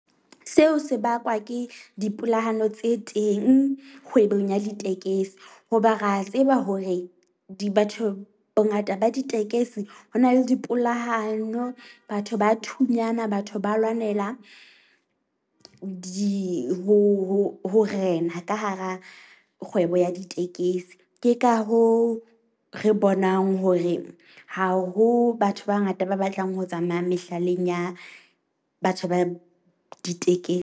Seo se bakwa ke dipolahano tse teng kgwebong ya ditekesi. Hoba ra tseba hore di batho bongata ba ditekesi ho na le dipolahano. Batho ba thunyana batho ba lwanela di ho ho ho rena ka hara kgwebo ya ditekesi. Ke ka hoo re bonang hore ha ho batho ba bangata ba batlang ho tsamaya mehlaleng ya batho ba .